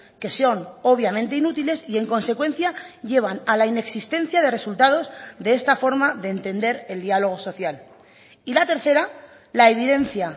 que son obviamente inútiles y en consecuencia llevan a la inexistencia de resultados de esta forma de entender el diálogo social y la tercera la evidencia